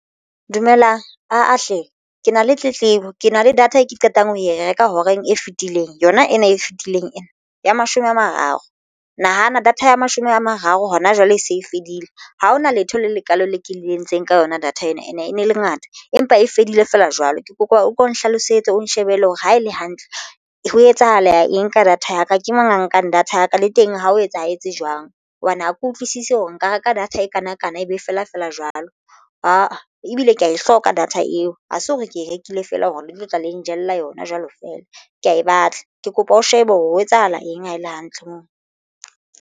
Dumelang aa hle ke na le tletlebo ke na le data e ke qetang ho e reka horeng e fetileng yona ena e fetileng ena ya mashome a mararo nahana data ya mashome a mararo hona jwale e se e fedile ha hona letho le lekalo le ke le entseng ka yona data ena ene e ne le ngata, empa e fedile feela jwalo ke kopa o ko nhlalosetse o nshebele hore ha e le hantle ho etsahala eng ka data ya ka. Ke mang a nkang data ya ka le teng ha o etsahetse jwang hobane ha ke utlwisisi hore nka reka data e kanakana. Ebe feela feela jwalo ebile ke ya e hloka data eo ha se hore ke e rekile feela hore le tlo tla le njella yona jwalo feela ke ya e batla ke kopa o shebe hore ho etsahala eng ha e le hantle moo.